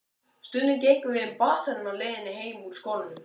Stundum gengum við um basarinn á leiðinni heim úr skólanum.